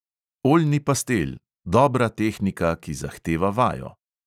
Oljni pastel, dobra tehnika, ki zahteva vajo.